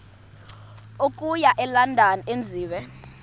okuya elondon enziwe